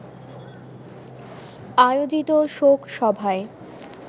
আয়োজিত শোক সভায়